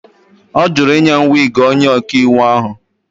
Ọ jụrụ ịnye m wiigi onye ọkaiwu ahụ.